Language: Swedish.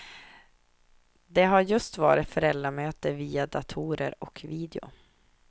Det har just varit föräldramöte via dator och video.